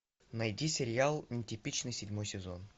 найти сериал нетипичный седьмой сезон